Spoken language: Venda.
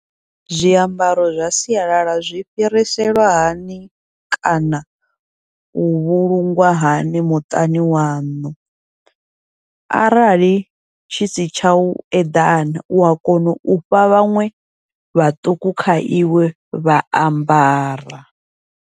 Zwiambaro zwa sialala zwi fhiriselwa hani kana u vhulungwa hani muṱani waṋu, arali tshi si tshau eḓana ua kona ufha vhaṅwe vhaṱuku kha iwe vha ambara.